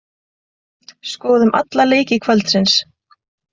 Skoðum alla leiki kvöldsins.